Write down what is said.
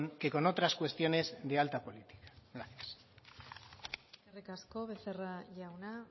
que con otras cuestiones de alta política gracias eskerrik asko becerra jauna